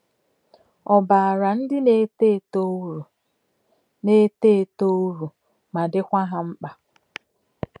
Ọ̀ baara ndị na-eto eto uru na-eto eto uru ma dịkwa ha mkpa?